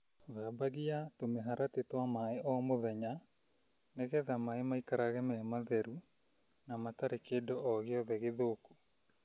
Thambagia tũmĩharatĩ twa maaĩ o mũthenya nĩgetha maaĩ maikarage me matheru na mate na kĩndũ o gĩothe gĩthũku.